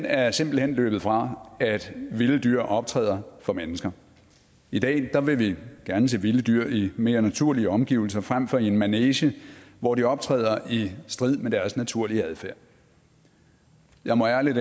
er simpelt hen løbet fra at vilde dyr optræder for mennesker i dag vil vi gerne se vilde dyr i mere naturlige omgivelser frem for i en manege hvor de optræder i strid med deres naturlige adfærd jeg må ærligt